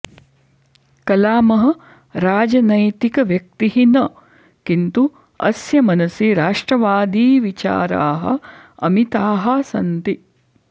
कलामः राजनैतिकव्यक्तिः न किन्तु अस्य मनसि राष्ट्रवादी विचाराः अमिताः सन्ति